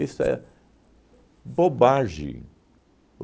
é bobagem.